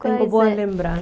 Tengo boas lembranças.